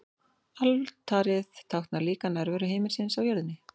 Altarið táknar líka nærveru himinsins á jörðinni.